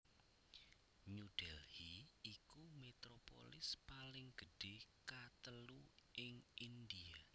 New Delhi iku metropolis paling gedhé katelu ing India